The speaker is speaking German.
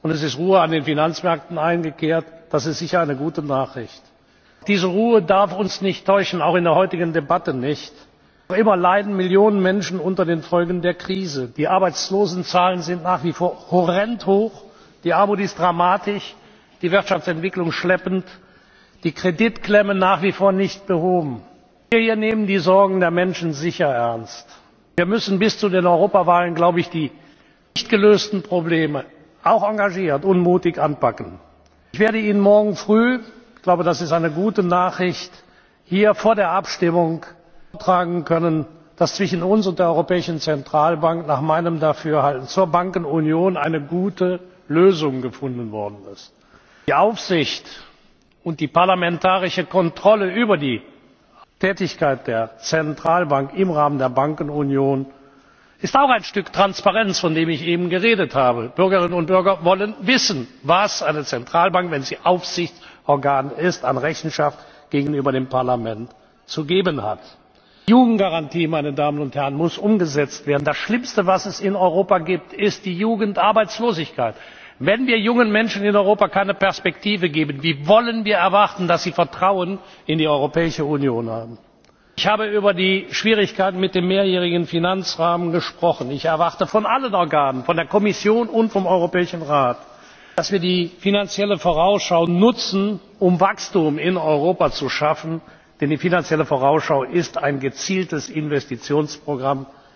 verunsichert haben. Und es ist Ruhe an den Finanzmärkten eingekehrt das ist sicher eine gute Nachricht. Doch diese Ruhe darf uns nicht täuschen, auch in der heutigen Debatte nicht. Noch immer leiden Millionen Menschen unter den Folgen der Krise. Die Arbeitslosenzahlen sind nach wie vor horrend hoch, die Armut ist dramatisch, die Wirtschaftsentwicklung schleppend, die Kreditklemme nach wie vor nicht behoben. Wir hier nehmen die Sorgen der Menschen sicher ernst. Wir müssen bis zu den Europawahlen die nicht gelösten Probleme auch engagiert und mutig anpacken. Ich werde Ihnen morgen früh ich glaube, das ist eine gute Nachricht hier vor der Abstimmung vortragen können, dass zwischen uns und der Europäischen Zentralbank nach meinem Dafürhalten zur Bankenunion eine gute Lösung gefunden worden ist. Die Aufsicht und die parlamentarische Kontrolle über die Aufsichtstätigkeit der Zentralbank im Rahmen der Bankenunion ist auch ein Stück Transparenz, von dem ich eben geredet habe. Die Bürger und Bürgerinnen wollen wissen, was eine Zentralbank, wenn sie Aufsichtsorgan ist, an Rechenschaft gegenüber dem Parlament abzulegen hat. Die Jugendgarantie muss umgesetzt werden. Das Schlimmste, was es in Europa gibt, ist die Jugendarbeitslosigkeit. Wenn wir jungen Menschen in Europa keine Perspektive geben, wie wollen wir erwarten, dass sie Vertrauen in die Europäische Union haben? Ich habe über die Schwierigkeiten mit dem mehrjährigen Finanzrahmen gesprochen. Ich erwarte von allen Organen, von der Kommission und vom Europäischen Rat, dass wir die Finanzielle Vorausschau nutzen, um Wachstum in Europa zu schaffen, denn die Finanzielle Vorausschau ist ein gezieltes Investitionsprogramm.